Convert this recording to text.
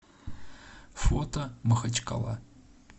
фото махачкала